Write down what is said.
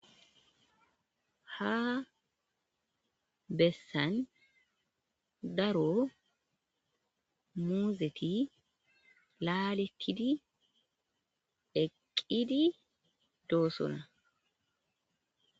Ha bessan daro muuzethi laaleththidi eqqidi doosona.